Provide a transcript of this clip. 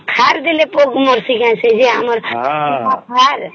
ସାର ଦେଲେ ଜାଇକାରୀ ଆମର ଅପକ ମାରିଚି ସାର